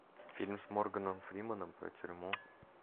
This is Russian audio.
фильм с морганом фрименом про тюрьму